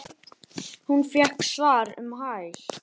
Hún fékk svar um hæl.